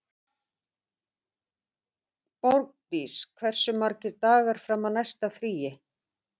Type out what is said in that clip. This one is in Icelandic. Þegar Bandamönnum tókst að brjóta dulmálslykil Þjóðverja gátu þeir lesið nánast öll þeirra samskipti.